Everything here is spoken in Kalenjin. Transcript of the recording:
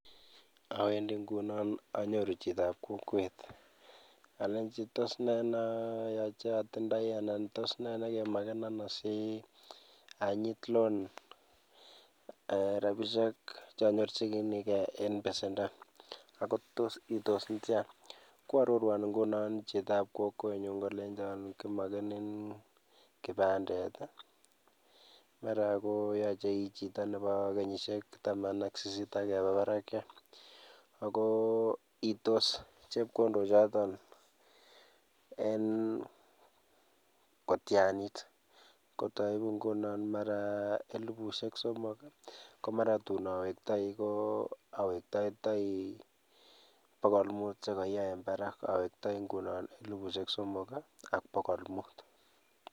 awendi ngunon anyoru chito ap kokwet, alechi tos ne neatindoi anan tos ne nekemakena asianyit loan rabisiek cheanyorchinigei ing' besendo ako tos iitos netya. Koarorwan nguno chito ap kokwenyu kolecho kimakenen kibandet, mara koyache ii chito nebo kenyisiek taman ak sisit akeba barak, akoiitos chepkondokchootok en kotyanit. kotai nguno mara elifusiek somok, komara tuun awektaigei awektaitai pogol mut sikoya en barak awektai ngunon elifusiek somok ak pogol mut